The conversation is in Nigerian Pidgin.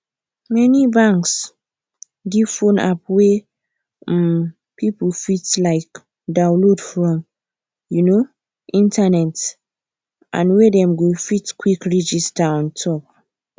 many banks give phone app wey um people fit um downlaod from um internet and wey dem go fit quick register on top